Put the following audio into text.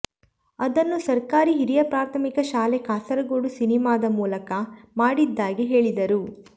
ಅದನ್ನು ಸರ್ಕಾರಿ ಹಿರಿಯ ಪ್ರಾಥಮಿಕ ಶಾಲೆ ಕಾಸರಗೋಡು ಸಿನಿಮಾದ ಮೂಲಕ ಮಾಡಿದ್ದಾಗಿ ಹೇಳಿದರು